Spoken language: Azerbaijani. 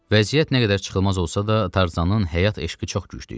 Vəziyyət nə qədər çıxılmaz olsa da, Tarzanın həyat eşqi çox güclü idi.